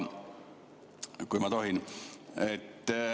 Kui ma tohin ...